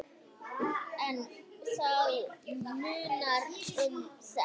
En það munar um þetta.